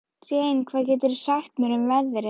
Jane, hvað geturðu sagt mér um veðrið?